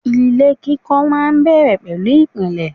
Ilé kíkọ́ máa ń bẹ̀rẹ̀ pẹ̀lú ìpìlẹ̀.